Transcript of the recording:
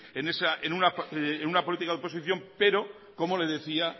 en una política de oposición pero como le decía